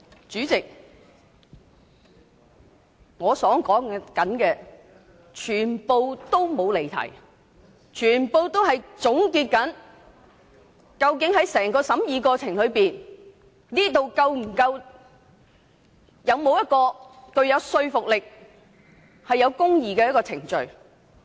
主席，我的發言完全沒有離題，因為我正在總結整個審議過程究竟是否一項具說服力及公義的程序。